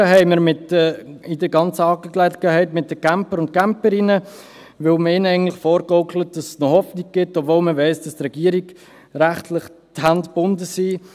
Ein bisschen Mitleid haben wir in dieser ganzen Angelegenheit mit den Campern und Camperinnen, weil man ihnen eigentlich vorgaukelt, es gebe noch Hoffnung, obwohl man weiss, dass der Regierung rechtlich die Hände gebunden sind.